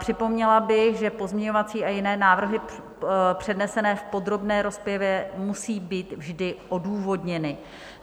Připomněla bych, že pozměňovací a jiné návrhy přednesené v podrobné rozpravě musí být vždy odůvodněny.